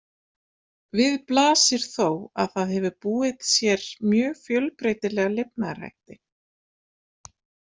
Við blasir þó að það hefur búið sér mjög fjölbreytilega lifnaðarhætti.